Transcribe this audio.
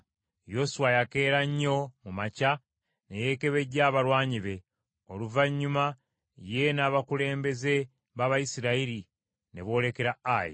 Yoswa yakeera nnyo mu makya ne yeekebejja abalwanyi be, oluvannyuma ye n’abakulembeze b’Abayisirayiri ne boolekera Ayi.